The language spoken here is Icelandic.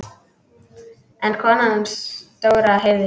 En konan hans Dóra heyrði.